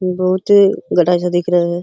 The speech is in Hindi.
बहुत ही घटा सा दिख रहे हैं।